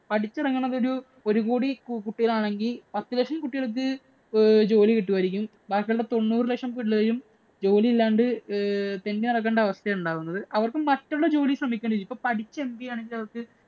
പഠിച്ചിറങ്ങുന്നത് ഒരു ഒരു കോടി കുട്ടികളാണെങ്കിൽ പത്ത് ലക്ഷം കുട്ടികൾക്ക് ജോലി കിട്ടുമായിരിക്കും. ബാക്കിയുള്ള തൊണ്ണൂറ് ലക്ഷം പിള്ളേരും ജോലി ഇല്ലാണ്ട് ഏർ തെണ്ടി നടക്കണ്ട അവസ്ഥയാണ് ഉണ്ടാവുന്നത്. അവര്‍ക്ക് മറ്റുള്ള ജോലി ശ്രമിക്കണം. ഇപ്പോ പഠിച്ച് MBA ആണെങ്കിൽ അവർക്ക്